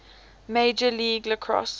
major league lacrosse